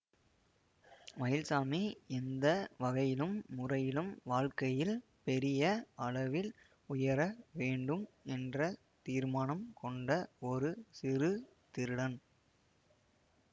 மயில்சாமி எந்த வகையிலும் முறையிலும் வாழ்க்கையில் பெரிய அளவில் உயர வேண்டும் என்ற தீர்மானம் கொண்ட ஒரு சிறு திருடன்